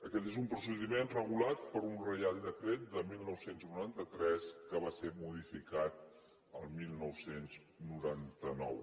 aquest és un procediment regulat per un reial decret de dinou noranta tres que va ser modificat el dinou noranta nou